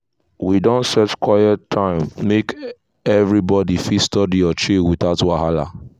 we don set quiet time make everybody fit study or chill without wahala.